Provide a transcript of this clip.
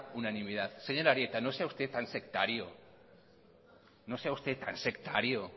unanimidad señor arieta no sea usted tan sectario no sea usted tan sectario